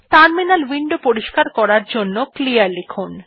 terminal window পরিষ্কার করার জন্য ক্লিয়ার লিখুন